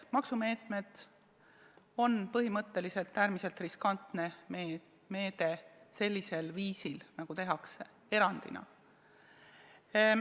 Maksumeetmed on põhimõtteliselt äärmiselt riskantne meede sellisel viisil, nagu tehakse, erandina.